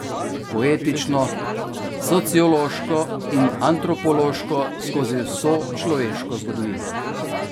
Poetično, sociološko in antropološko skozi vso človeško zgodovino.